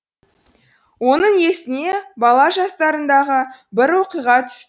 оның есіне бала жастарындағы бір оқиға түсті